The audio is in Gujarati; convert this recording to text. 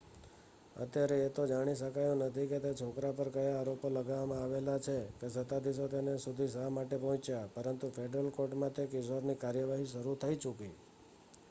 અત્યારે એ તો જાણી શકાયું નથી કે તે છોકરા પર કયા આરોપો લગાવવામાં આવેલ છે કે સત્તાધીશો તેના સુધી શા માટે પહોંચ્યા પરંતુ ફેડરલ કોર્ટમાં તે કિશોરની કાર્યવાહી શરુ થઈ ચુકી